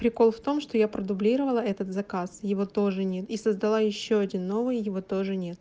прикол в том что я продублировала этот заказ его тоже нет и создала ещё один новый его тоже нет